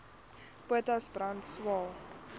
potas brand swael